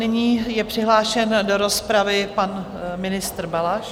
Nyní je přihlášen do rozpravy pan ministr Balaš.